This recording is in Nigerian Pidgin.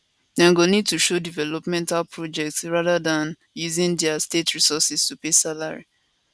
dem go need to show developmental projects rather dan using dia states resources to pay salaries